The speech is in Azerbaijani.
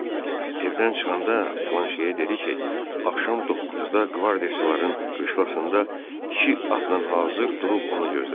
Evdən çıxanda Planşeye dedi ki, axşam 9-da qvardiyaççıların qışlasında iki atla hazır durub onu gözləsin.